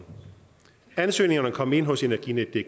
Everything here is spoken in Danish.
ansøgningerne kom ind hos energinetdk i